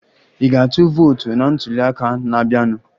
Ị ga-atụ vootu na ntuli aka na-abịanụ?